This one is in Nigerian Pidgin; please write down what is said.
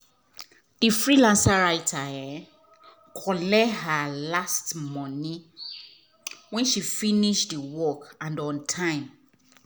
the freelance writer collect her last money when she finish the work and on time.